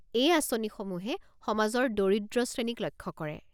এই আঁচনিসমূহে সমাজৰ দৰিদ্ৰ শ্ৰেণীক লক্ষ্য কৰে।